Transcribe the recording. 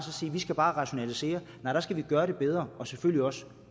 skal rationalisere nej der skal vi gøre det bedre og selvfølgelig også